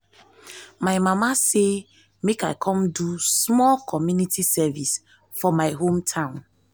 my mama say make i come do small community service for my hometown